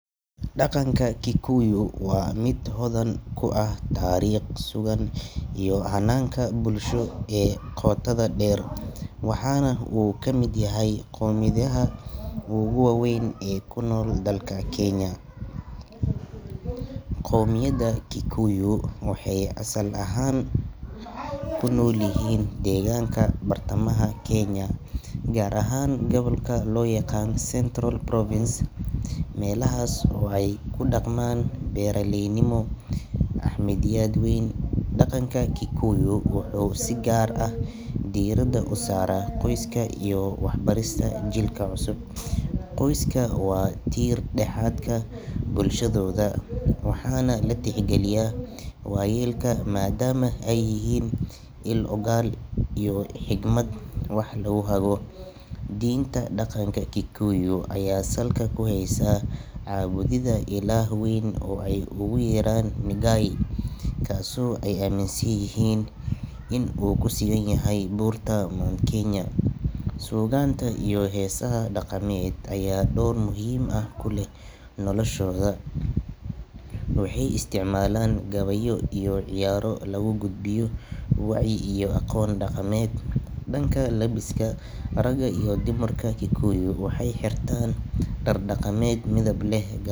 Daqanka kikuyu waa miid hodan ku ah taariiq sugan iyo hananka bulsho ee qotada deer. Waxana uu kamid yahay qomid yaha oo guwawein ee dalka keinya. Qoomiyada kikuyu waxay asal ahaan kunol yihin degaanka bartamaha Kenya gar ahan gobolka loyaqaan Centrol province meelahas kudaqman beeralei. Nimo Axmed yad wein daqanka kikuyu wuxu sigaar ah diirada usaara qoiska iyo wax barista jilka cusub. qoyska waa jiir daxaadka bulshadooda waxaan latixgaliyaa wayeelka madaam eey yixiin il ugaal iyo xikmad wax lo xago. Dinta daqanka kikuyu aya salka kuhysa cabudida ilaah weyn ey ooguyeeraan Migaia kaaso e aminsanyihin in u kusuganyahy burta Mt Kenya. Sugaanta iyo hesaha daqaniyeed aya door muhiim ah kuleh noloshooda. waxey isticmalaan gabeyo iyo ciyaaro lagugudbiyo wacyi iyo aqoon daqaneed. dakna labista raga iyo dumarka kikuyu waxey xirtaan dark daqaneed midbleh.